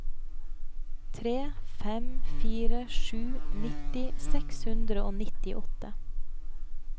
tre fem fire sju nitti seks hundre og nittiåtte